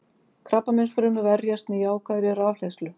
Krabbameinsfrumur verjast með jákvæðri rafhleðslu.